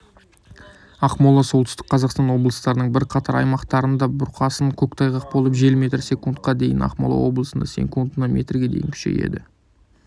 ақмола солтүстік қазақстан облыстарының бірқатар аймақтарында бұрқасын көктайғақ болып жел метр секундқа дейін ақмола облысында секундына метрге дейін күшейеді